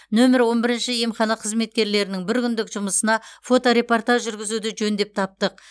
нөмір он бірінші емхана қызметкерлерінің бір күндік жұмысына фоторепортаж жүргізуді жөн деп таптық